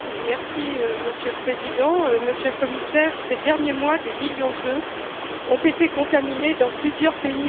Monsieur le Président, Monsieur le Commissaire, ces derniers mois, des millions d'œufs ont été contaminés dans plusieurs pays européens.